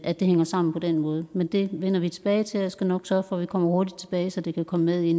at det hænger sammen på den måde men det vender vi tilbage til og jeg skal nok sørge for at vi kommer hurtigt tilbage så det kan komme med i